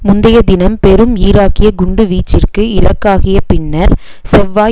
முந்தைய தினம் பெரும் ஈராக்கிய குண்டு வீச்சிற்கு இலக்காகியபின்னர் செவ்வாய்